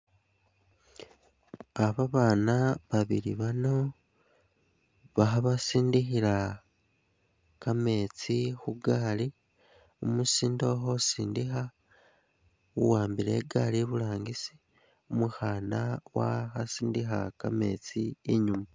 Ah babana babili bano baha basindikhila ka metsi khu gaali, umusinde ukho sindikha u wambile igaali iburangisi, umukhan wa- kha sindikha ka metsi inyuma.